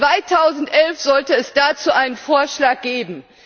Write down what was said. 2011 sollte es dazu einen Vorschlag geben!